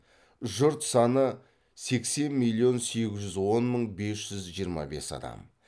жұрт саны сексен миллион сегіз жүз он мың бес жүз жиырма бес адам